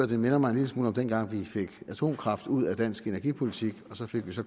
det minder mig en lille smule om dengang vi fik atomkraft ud af dansk energipolitik og så fik